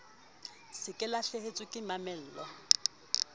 se ke lahlehetswe ke mamello